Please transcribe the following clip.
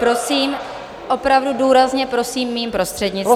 Prosím, opravdu důrazně prosím, mým prostřednictvím.